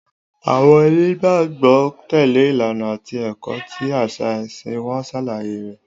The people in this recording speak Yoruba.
Àwọn onígbàgbọ́ tẹ̀lé ìlànà àti ẹ̀kọ́ tí àṣà ẹ̀sìn wọn ṣàlàyé rẹ̀.